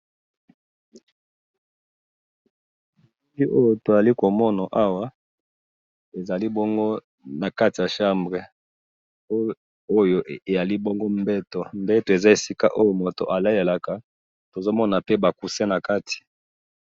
eloko tozali komona awa ezali bongo na kati ya chambre, oyo ezali mbetu mbetu ezali esika oyo batu balalelaka, tozo mo a pe ba coussin na kati.